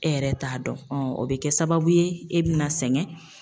E yɛrɛ t'a dɔn o bɛ kɛ sababu ye e bɛna sɛgɛn.